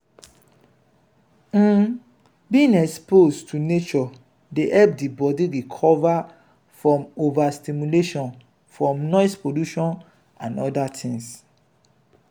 um being exposed to nature dey help di body recover from over stimulation from noise pollution and oda things